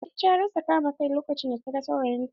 Fati ta rasa kama kai lokacin da ta gan saurayin ta.